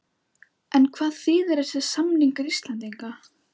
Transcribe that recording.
En hvað þýðir þessi samningur fyrir Íslendinga?